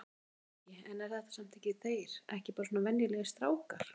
Breki: En er þetta samt ekki eru þeir ekki bara svona venjulegir strákar?